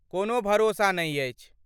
कोनो भरोसा नहि अछि।